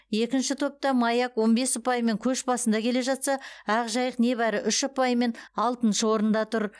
екінші топта маяк он бес ұпаймен көш басында келе жатса ақжайық небәрі үш ұпаймен алтыншы орында тұр